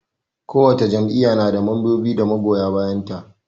Kowace jam'iyya na da mambobi da magoya bayan ta.